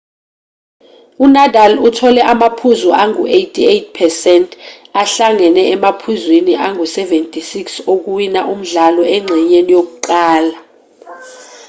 unadal uthole amaphuzu angu-88% ahlangene emaphuzwini angu-76 okuwina umdlalo engxenyeni yokuqala